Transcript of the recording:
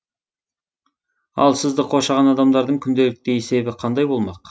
ал сізді қоршаған адамдардың күнделікті есебі қандай болмақ